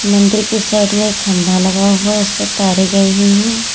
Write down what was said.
मंदिर के साइड में एक खंभा लगा हुआ है उस पे तारे गई हुई हैं।